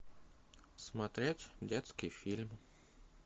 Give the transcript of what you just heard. смотреть детский фильм